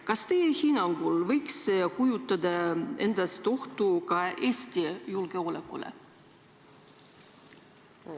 Kas teie hinnangul võiks see kujutada ohtu ka Eesti julgeolekule?